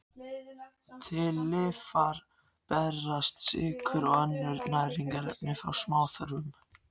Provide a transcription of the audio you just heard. Til lifrar berast sykrur og önnur næringarefni frá smáþörmum.